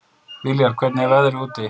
Viljar, hvernig er veðrið úti?